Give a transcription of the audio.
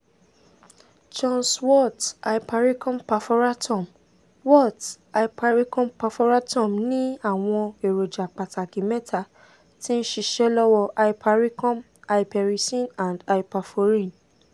john's wort hypericum perforatum wort hypericum perforatum ni awọn eroja pataki mẹta ti nṣiṣe lọwọ hypericum hypericin and hyperforin